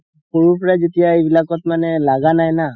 সৰুৰ পাই যেতিয়া এইবোৰত লাগা নাই না